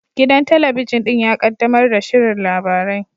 Gidan talabijin ɗin ya kaddamar da shirin labarai